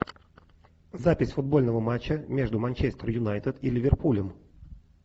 запись футбольного матча между манчестер юнайтед и ливерпулем